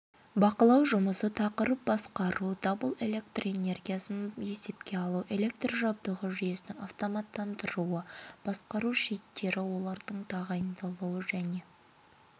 басқару аппаратуралары дабыл қағу мен блокировкалау жүйелері электр қондырғыларда электроэнергиясын есепке алу түрлері белсенді және реактивті энергияны